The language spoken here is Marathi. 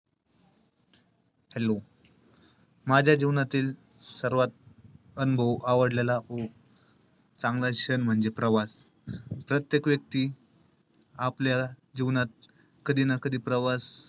Hello माझ्या जीवनातील सर्वात अनुभव आवडलेला चांगला decision म्हणजे प्रवास. प्रत्येक व्यक्ती आपल्या जीवनात कधी ना कधी प्रवास,